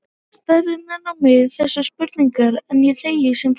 Starir enn á mig þessum spurnaraugum, en ég þegi sem fastast.